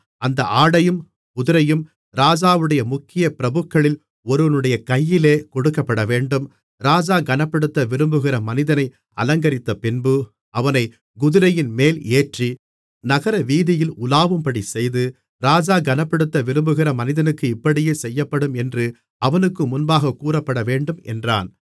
அந்த ஆடையும் குதிரையும் ராஜாவுடைய முக்கிய பிரபுக்களில் ஒருவனுடைய கையிலே கொடுக்கப்படவேண்டும் ராஜா கனப்படுத்த விரும்புகிற மனிதனை அலங்கரித்தபின்பு அவனைக் குதிரையின்மேல் ஏற்றி நகரவீதியில் உலாவும்படிச் செய்து ராஜா கனப்படுத்த விரும்புகிற மனிதனுக்கு இப்படியே செய்யப்படும் என்று அவனுக்கு முன்பாகக் கூறப்படவேண்டும் என்றான்